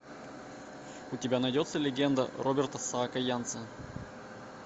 у тебя найдется легенда роберта саакянца